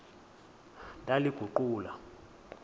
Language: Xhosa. ndaliguqula